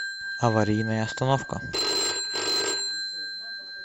аварийная остановка